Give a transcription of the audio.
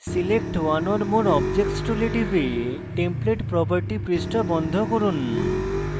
select one or more objects tool টিপে templates property পৃষ্ঠা বন্ধ করুন